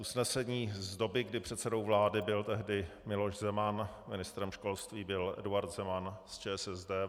Usnesení z doby, kdy předsedou vlády byl tehdy Miloš Zeman, ministrem školství byl Eduard Zeman z ČSSD.